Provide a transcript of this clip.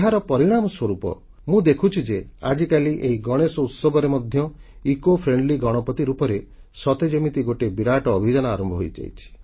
ଏହାର ପରିଣାମ ସ୍ୱରୂପ ମୁଁ ଦେଖୁଛି ଯେ ଆଜିକାଲି ଏହି ଗଣେଶୋତ୍ସବରେ ମଧ୍ୟ ପରିବେଶଧର୍ମୀ ଗଣପତି ରୂପରେ ସତେ ଯେମିତି ଗୋଟିଏ ବିରାଟ ଅଭିଯାନ ଆରମ୍ଭ ହୋଇଯାଇଛି